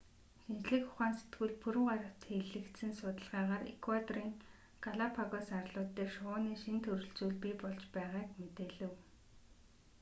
шинжлэх ухаан сэтгүүлд пүрэв гарагт хэвлэгдсэн судалгаагаар эквадорын галапагос арлууд дээр шувууны шинэ төрөл зүйл бий болж байгааг мэдээлэв